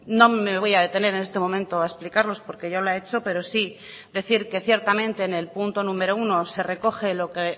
no me voy a detener en este momento a explicarlos porque ya lo ha hecho pero sí decir que ciertamente en el punto número uno se recoge lo que